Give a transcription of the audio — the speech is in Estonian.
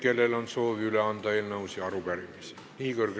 Kellel on soovi üle anda eelnõusid või arupärimisi?